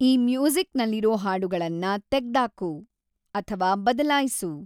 ಈ ಮ್ಯೂಸಿಕ್ಸ್‌ನಲ್ಲಿರೋ ಹಾಡುಗಳನ್ನ ತೆಗ್ದಾಕು/ಬದಲಾಯ್ಸು